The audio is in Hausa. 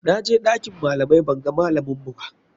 Na je ɗakin malamai banga malaminmu ba.